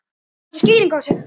Kanntu skýringu á þessu?